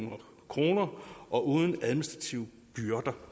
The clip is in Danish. kroner og uden administrative byrder